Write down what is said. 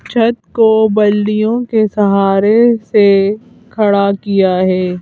छत को बल्लियों के सहारे से खड़ा किया है।